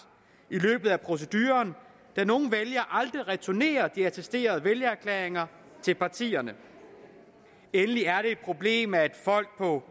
i løbet af proceduren da nogle vælgere aldrig returnerer de attesterede vælgererklæringer til partierne endelig er det et problem at folk på